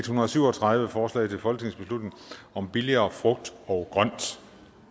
hundrede og syv og tredive forslag til folketingsbeslutning om billigere frugt og grønt